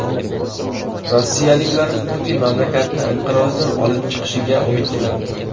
Rossiyaliklar Putin mamlakatni inqirozdan olib chiqishiga umid qilmoqda.